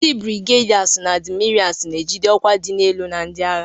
Ndi Birigedasi na adimirasu na-ejide ọkwa dị elu na ndị agha.